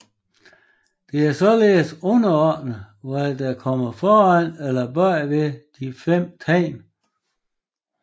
Det er således underordnet hvad der kommer foran eller bagved de fem tegn